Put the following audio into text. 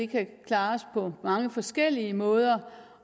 kan klares på mange forskellige måder